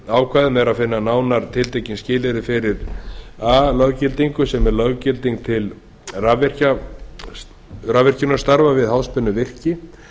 ákvæðum er að finna nánar tiltekin skilyrði fyrir a löggildingu sem er löggilding til rafvirkjunarstarfa við háspennuvirki